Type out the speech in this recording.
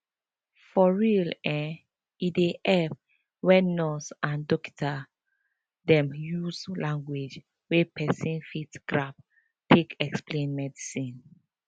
for real eh e dey epp wen nurse and dokita dem use lanugauge wey pesin fit grab take explain medicine